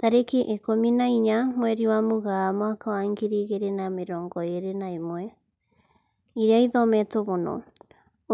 Tarĩki ikũmi na inya mweri wa Mũgaa mwaka wa ngiri igĩri na mĩrongo ĩri na ĩmwe, ĩria ĩthometwo mũno: